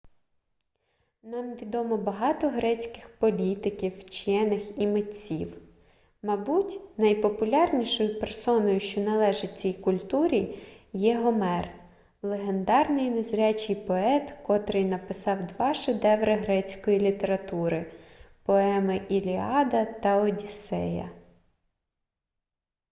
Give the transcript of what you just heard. нам відомо багато грецьких політиків вчених і митців мабуть найпопулярнішою персоною що належить цій культурі є гомер легендарний незрячий поет котрий написав два шедеври грецької літератури поеми іліада та одіссея